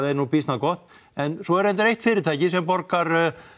er nú býsna gott en svo er reyndar eitt fyrirtæki sem borgar